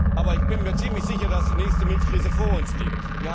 uns, ja. Aber ich bin mir ziemlich sicher, dass die nächste Milchkrise vor uns